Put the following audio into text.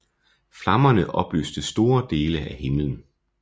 Flammerne oplyste store dele af himmelen